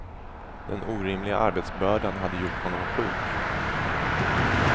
Den orimliga arbetsbördan hade gjort honom sjuk.